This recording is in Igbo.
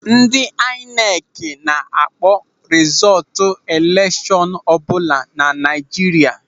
Ndị aịnekị na-akpọ rizọọtụ elekshọn ọbụla na Naịjirịa.